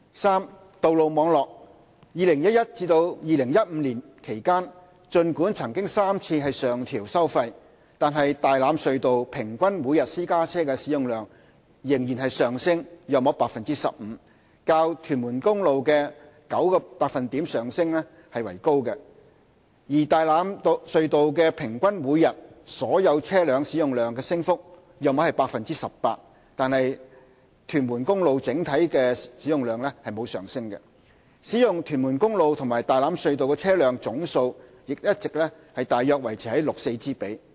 三道路網絡2011年至2015年期間，儘管曾3次上調收費，但大欖隧道平均每天私家車使用量仍上升約 15%， 較屯門公路的 9% 升幅為高；而大欖隧道平均每天所有車輛使用量的升幅約為 18%， 但屯門公路的整體使用量則沒有上升，使用屯門公路及大欖隧道的車輛總數亦一直大約維持 6：4 之比。